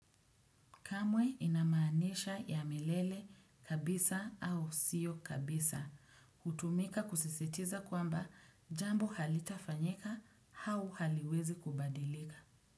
Kamwe inamaanisha ya milele kabisa au sio kabisa. Hutumika kusisitiza kwamba jambo halitafanyika hau haliwezi kubadilika.